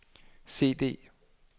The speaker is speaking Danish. CD